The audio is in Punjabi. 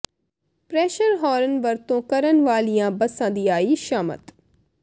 ਪ੍ਰੈਸ਼ਰ ਹਾਰਨ ਵਰਤੋਂ ਕਰਨ ਵਾਲੀਆ ਬੱਸਾਂ ਦੀ ਆਈ ਸ਼ਾਮਤ